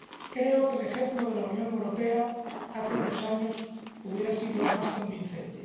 Creo que el ejemplo de la Unión Europea hace unos años hubiera sido más convincente.